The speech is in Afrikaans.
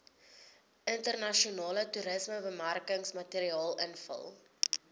internasionale toerismebemarkingsmateriaal invul